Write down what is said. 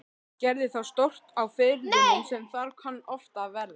Gerði þá stórt á firðinum sem þar kann oft verða.